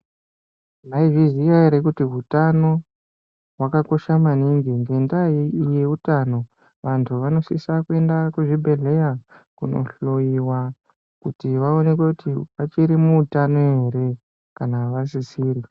Maizviziva here kuti hutano vantu vanosisa kuenda kuzvibhedhlera Kundohloiwa kuti vaonekwe vachiri hutano here kana vasisiri.